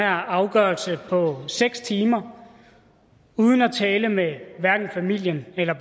afgørelse på seks timer uden at tale med hverken familien eller